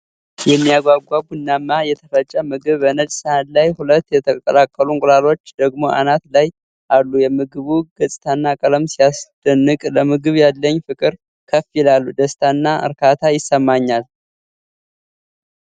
የሚያጓጓ! ቡናማው የተፈጨ ምግብ በነጭ ሳህን ላይ ፣ ሁለት የተቀቀሉ እንቁላሎች ደግሞ አናት ላይ አሉ። የምግቡ ገጽታና ቀለም ሲያስደንቅ! ለምግብ ያለኝ ፍቅር ከፍ ይላል! ደስታና እርካታ ይሰማኛል።